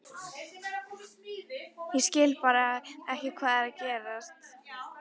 Ég skil bara ekki hvað er að gerast.